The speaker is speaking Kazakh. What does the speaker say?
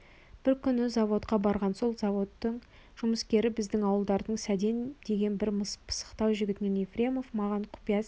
бір күні заводқа барған сол заводтың жұмыскері біздің ауылдардың сәден деген бір пысықтау жігітінен ефремов маған құпия сәлем